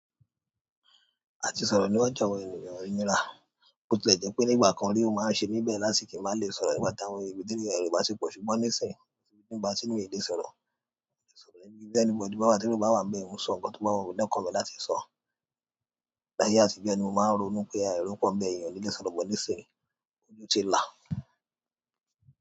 A ti sọ̀rọ̀ níwájú àwọn ènìyàn o nira, bó tilẹ̀ jẹ́ pé nígbà kan rí ó máa ń ṣe bẹ̀ láti kí a má lè sọ̀rọ̀ nígbà táwọn ẹbí níbi tí èrò bati pọ̀ ṣùgbọ́n nísìn, kosi ìgbà tí mi ò lè sọ̀rọ̀, so ibi ti anybody bá wà ti èrò bá wa ń bẹ̀ mo ń sọ ǹkan tí o bá wumi lọ́kàn mi láti sọ. Láyé àtijọ́ ni mo máa ń ronú pé ẹ̀ro pọ́nbẹ̀ ènìyàn onílé sọ̀rọ̀, but nisìń ojú ti la.